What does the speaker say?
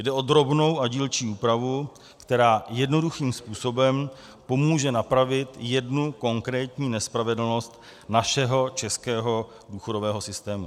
Jde o drobnou a dílčí úpravu, která jednoduchým způsobem pomůže napravit jednu konkrétní nespravedlnost našeho českého důchodového systému.